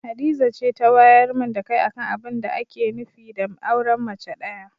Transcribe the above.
Hadiza ce ta wayar min da kai akan abinda ake nufi da auren mace ɗaya.